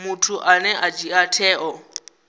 muthu ane a dzhia tsheo